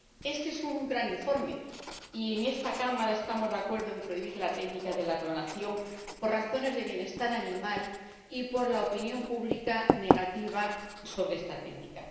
Este es un gran informe, y en esta Cámara estamos de acuerdo en prohibir la técnica de la clonación por razones de bienestar animal y por la postura negativa de la opinión pública sobre esta técnica.